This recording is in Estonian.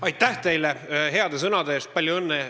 Aitäh teile heade sõnade eest!